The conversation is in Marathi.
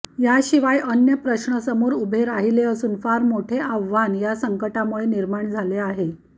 याशिवाय अन्य प्रश्न समोर उभे राहिले असून फार मोठे आव्हान या संकटामुळे निर्माण झाले आहे